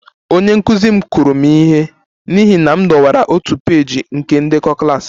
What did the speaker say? Onye nkụzi m kụrụ m ihe n'ihi na m dọwara otu peeji nke ndekọ klas